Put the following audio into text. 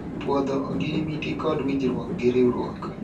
pwodho ogirimiti kod winjruok gi riwruok